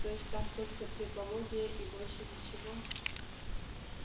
то есть там только трепология и больше ничего